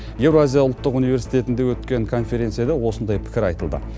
еуразия ұлттық университетінде өткен конференцияда осындай пікір айтылды